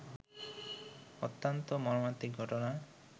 অত্যন্ত মর্মান্তিক ঘটনা